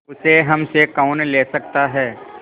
उसे हमसे कौन ले सकता है